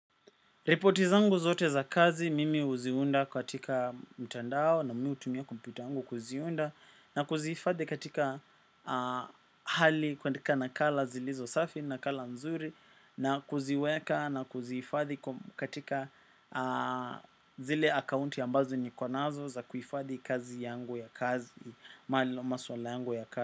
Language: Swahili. Repoti zangu zote za kazi mimi uziunda katika mtandao na mi hutumia kompyuta yangu kuziunda na kuziifadhi katika hali kuandika nakala zilizo safi, nakala nzuri na kuziweka na kuziifadhi katika zile akaunti ambazo niko nazo za kuifadhi kazi yangu ya kazi, mali ama swala yangu ya kazi.